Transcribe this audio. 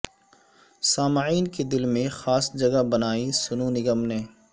سامعین کے دل میں خاص جگہ بنائی سونو نگم نے